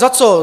Za co?